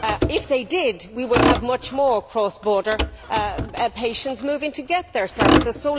If they did, we would see many more cross border patients moving to get their services.